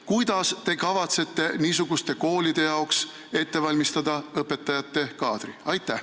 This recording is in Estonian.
Kuidas te kavatsete niisuguste koolide jaoks õpetajate kaadri ette valmistada?